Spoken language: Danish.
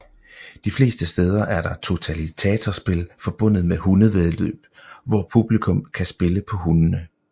De fleste steder er der totalisatorspil forbundet med hundevæddeløb hvor publikum kan spille på hundene